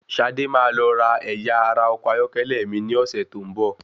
Ṣadé máa lọ ra ẹ̀yà ara ọkọ̀ ayọ́kẹ́lẹ́ mi ní ọ̀sẹ́ tó ń bọ̀.